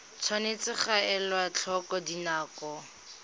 tshwanetse ga elwa tlhoko dinako